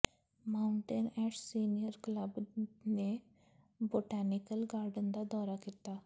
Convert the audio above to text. Mountain Ash senior club ਨੇ botanical garden ਦਾ ਦੌਰਾ ਕੀਤਾ